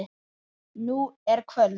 Nú er kvöld.